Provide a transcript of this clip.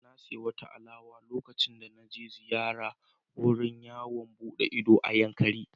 Na sayi wata alewa lokacin da na je ziyara wurin yawon buɗe ido na Yankari.